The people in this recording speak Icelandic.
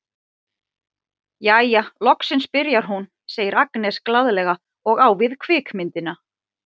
Jæja, loksins byrjar hún, segir Agnes glaðlega og á við kvikmyndina.